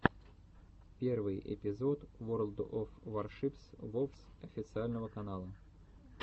первый эпизод ворлд оф варшипс вовс официального канала